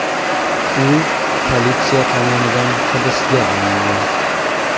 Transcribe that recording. U politsiya tomonidan hibsga olingan.